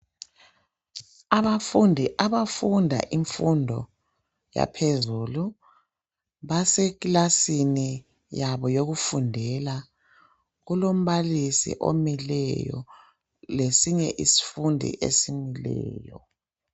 Abafundi abafunda imfundo yaphezulu basekilasini yabo yokufundela kulombalisi omileyo lesinye isifundi esimileyo.